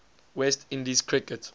west indies cricket